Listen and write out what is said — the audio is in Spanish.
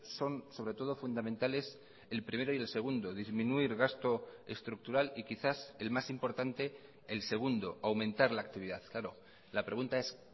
son sobre todo fundamentales el primero y el segundo disminuir gasto estructural y quizás el más importante el segundo aumentar la actividad claro la pregunta es